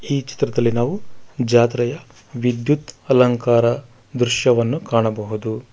ಈ ಚಿತ್ರದಲ್ಲಿ ನಾವು ಜಾತ್ರೆಯ ವಿದ್ಯುತ್ ಅಲಂಕಾರ ದೃಶ್ಯವನ್ನು ಕಾಣಬಹುದು.